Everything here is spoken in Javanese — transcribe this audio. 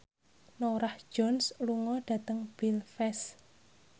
Norah Jones lunga dhateng Belfast